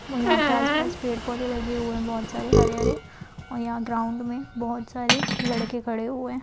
वो यहाँ पे आस-पास पेड़-पौधे लगे हुए है बहोत सारे हरे-हरे और यहाँ ग्राउंड में बहोत सारे लड़के खड़े हुए है।